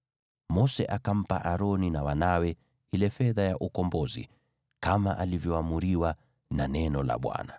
Mose akampa Aroni na wanawe ile fedha ya ukombozi, kama alivyoamriwa na neno la Bwana .